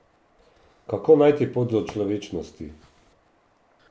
Kako najti pot do človečnosti?